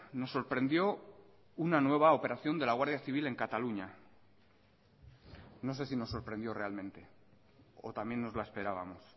nos sorprendió una nueva operación de la guardia civil en cataluña no sé si nos sorprendió realmente o también nos la esperábamos